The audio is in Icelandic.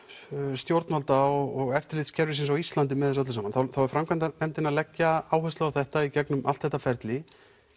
stjórnvalda og eftirlitskerfisins á Íslandi með þessu öllu saman þá er framkvæmdarnefndin búin að leggja áherslu á þetta í gegnum allt þetta ferli